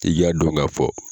I k'a dɔn k'a fɔ.